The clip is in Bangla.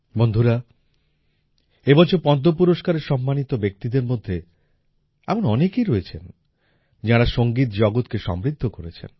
বন্ধুরা এবছর পদ্ম পুরস্কারে সম্মানিত ব্যক্তিদের মধ্যে এমন অনেকেই রয়েছেন যাঁরা সংগীত জগতকে সমৃদ্ধ করেছেন